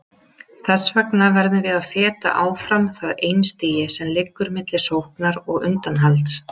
Þess vegna verðum við að feta áfram það einstigi sem liggur milli sóknar og undanhalds.